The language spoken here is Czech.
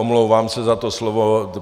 Omlouvám se za to slovo.